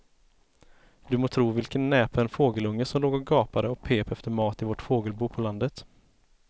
Du må tro vilken näpen fågelunge som låg och gapade och pep efter mat i vårt fågelbo på landet.